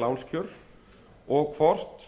lánskjör og hvort